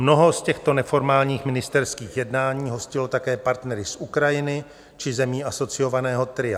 Mnoho z těchto neformálních ministerských jednání hostilo také partnery z Ukrajiny či zemí asociovaného tria.